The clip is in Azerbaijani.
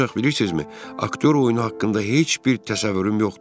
Ancaq bilirsizmi, aktyor oyunu haqqında heç bir təsəvvürüm yoxdur.